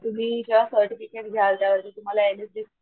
तुम्ही जेव्हा सर्टिफिकेट घ्याल त्यावरती तुम्हाला इडीजीइ,